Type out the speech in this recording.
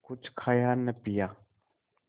कुछ खाया न पिया